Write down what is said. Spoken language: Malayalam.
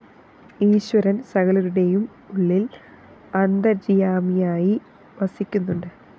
ഈശ്വരന്‍ സകലരുടെയും ഉള്ളില്‍ അന്തര്യാമിയായി വസിക്കുന്നുണ്ട്